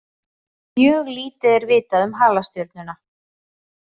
Mjög lítið er vitað um halastjörnuna.